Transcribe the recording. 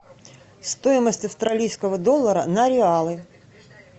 стоимость австралийского доллара на реалы